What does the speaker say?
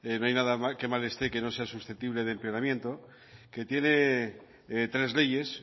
no hay nada que mal esté que no sea susceptible de empeoramiento que tiene tres leyes